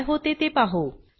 काय होते ते पाहु